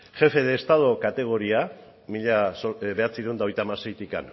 jefe de estado kategoria mila bederatziehun eta hogeita hamaseitik